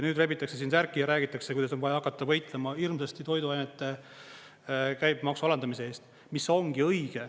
Nüüd rebitakse siin särki ja räägitakse, kuidas on vaja hakata võitlema hirmsasti toiduainete käibemaksu alandamise eest, mis ongi õige.